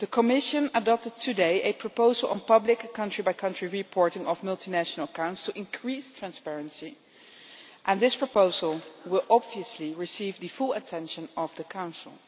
Today the Commission adopted a proposal on public country-by-country reporting of multinational accounts to increase transparency, and this proposal will, obviously, receive the full attention of the Council.